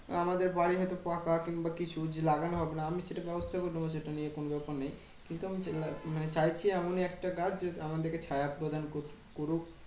আমাদের বাড়ি হয়তো পাকা কিংবা কিছু কিছু লাগানো হবে না। আমি সেটা ব্যবস্থা করে নেবো সেটা নিয়ে কোনো ব্যাপার নেই। কিন্তু আমি মানে চাইছি এমনই একটা গাছ যে আমাদেরকে ছায়া প্রদান করছে করুক